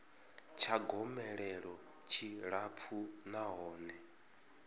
tsha gomelelo tshi tshilapfu nahone